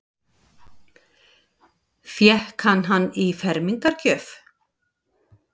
Fékk hann hann í fermingargjöf?